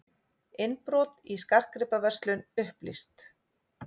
Innbrot í skartgripaverslun upplýst